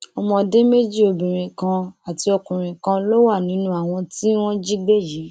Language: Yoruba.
ọmọdé méjì obìnrin kan àti ọkùnrin kan ló wà nínú àwọn tí wọn jí gbé yìí